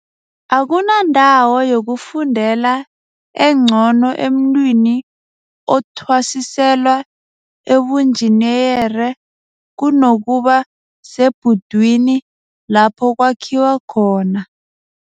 Akunandawo yokufundela engcono emntwini othwasiselwa ubunjiniyere kunokuba sebhudwini lapho kwakhiwa khona